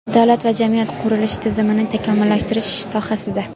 Davlat va jamiyat qurilishi tizimini takomillashtirish sohasida:.